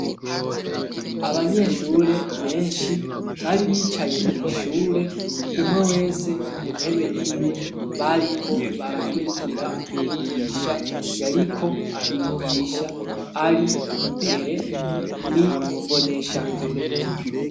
Abanyeshure benshi bari bicaye mw'ishure umwe wese ku ntebe y'iwe bariko barakurikira umwigisha yariko abigisha ari imbere ni mboneshakure.